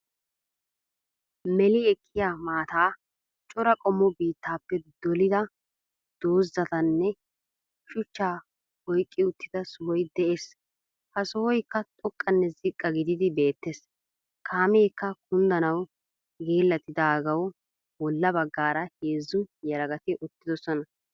Meeli ekiyaa maataa, cora qommo biitaappe dolida dozatanne shuchcha oyiqi uttida sohoy de'ees. Ha sohoyikka xooqanne ziiqa gididi bettees. Kaamekka kunddanawu geellatidagawu boolla bagaara heezzu yeelagati uttidoosona.